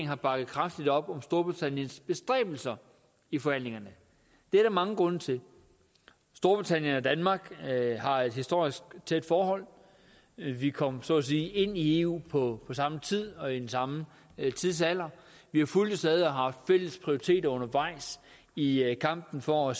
har bakket kraftigt op om storbritanniens bestræbelser i forhandlingerne det er der mange grunde til storbritannien og danmark har et historisk tæt forhold vi kom så at sige ind i eu på samme tid og i den samme tidsalder vi har fulgtes ad og haft fælles prioriteter undervejs i i kampen for